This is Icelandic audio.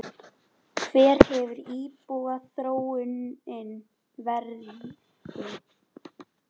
Hver hefur íbúaþróunin verið?